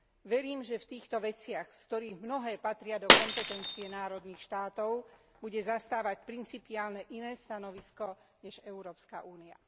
Verím, že v týchto veciach, z ktorých mnohé patria do kompetencie národných štátov, bude zastávať principiálne iné stanovisko než Európska únia.